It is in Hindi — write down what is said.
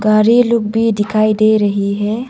गाड़ी लोग भी दिखाई दे रही है।